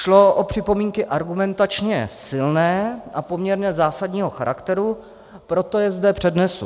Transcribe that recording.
Šlo o připomínky argumentačně silné a poměrně zásadního charakteru, proto je zde přednesu.